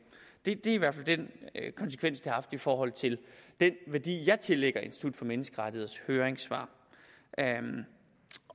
det er i hvert fald den konsekvens det har haft i forhold til den værdi jeg tillægger institut for menneskerettigheders høringssvar